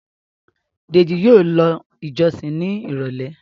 Deji yíò ló ìjósìn ní irọlẹ.